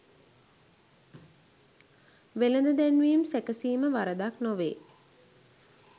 වෙළෙඳ දැන්වීම් සැකසීම වරදක් නොවේ.